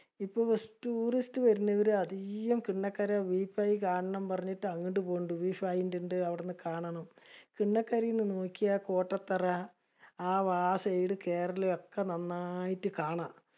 ഇപ്പൊ tourist വർണവര് അധിക്കോം പിള്ളകര view point കാണണം പറഞ്ഞിട്ട് അങ്ങട് പോണിണ്ടു. View point ഇണ്ട് അവിടുന്ന് കാണണം. നോക്കിയാ കോട്ടത്തറ ആ വാ side കേറല് ഒക്കെ നന്നായിട്ട് കാണാം.